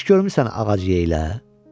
Heç görmüsən ağac yeyilə?